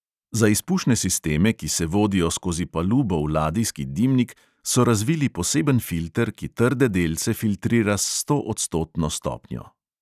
Za izpušne sisteme, ki se vodijo skozi palubo v ladijski dimnik, so razvili poseben filter, ki trde delce filtrira s stoodstotno stopnjo.